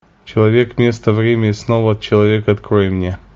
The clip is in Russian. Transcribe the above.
человек место время и снова человек открой мне